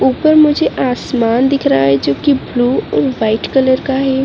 ऊपर मुझे आसमान दिख रहा है जो कि ब्लू और व्हाइट कलर का है।